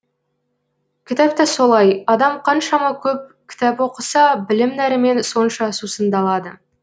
кітап та солай адам қаншама көп кітап оқыса білім нәрімен сонша сусындалады